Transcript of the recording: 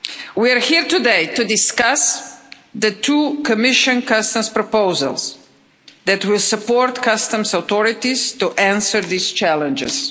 We are here today to discuss the two Commission customs proposals that will support customs authorities to answer these challenges.